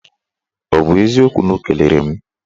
Ọ bụ eziokwu na o kelere m?